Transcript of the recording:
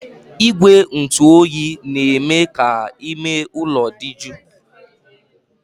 Igwe ntụ oyi na-eme ka ime ụlọ dị jụụ